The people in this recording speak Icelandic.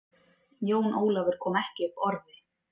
Jón Ólafur kom ekki upp orði.